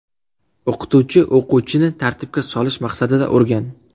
O‘qituvchi o‘quvchini tartibga solish maqsadida urgan.